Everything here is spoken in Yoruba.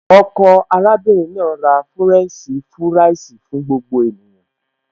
Ọkọ arábìnrin náà ra fúrẹ́ǹṣì fúráìsì fún gbogbo ènìyàn